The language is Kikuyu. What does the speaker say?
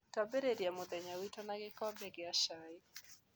Tũambĩrĩria mũthenya witũ na gĩkombe kĩa cai.